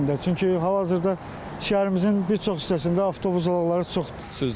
Çünki hal-hazırda şəhərimizin bir çox hissəsində avtobus zolaqları çoxdur.